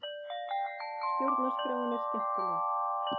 Stjórnarskráin er skemmtileg